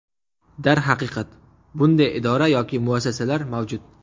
Darhaqiqat bunday idora yoki muassasalar mavjud.